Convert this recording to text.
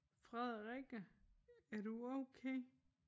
Frederikke er du okay?